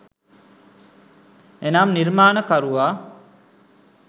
එනම් නිර්මාණකරුවා